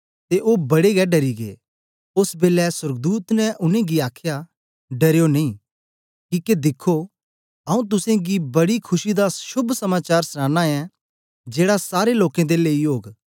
ओस बेलै सोर्गदूत ने उनेंगी आखया डरयो नेई किके दिखो आऊँ तुसेंगी गी बड़ी खुशी दा शोभ समाचार सनाना ऐं जेड़ा सारे लोकें दे लेई ओग